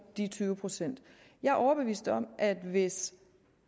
de tyve procent jeg er overbevist om at hvis